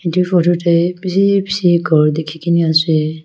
edu photo tae bishi bishi ghor dikhikaena ase.